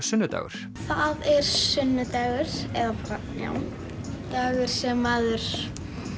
sunnudagur það er sunnudagur eða bara já dagur sem maður